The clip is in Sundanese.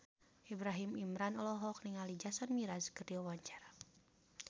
Ibrahim Imran olohok ningali Jason Mraz keur diwawancara